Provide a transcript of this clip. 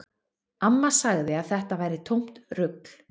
Amma sagði að þetta væri tómt rugl